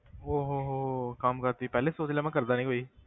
ਓਹ ਹੋ ਹੋ ਕੰਮ ਕਾਰ ਤੁਸੀਂ ਪਹਿਲੇ ਹੀ ਸੋਚ ਲਿਆ ਮੈਂ ਕਰਦਾ ਨੀ ਕੋਈ।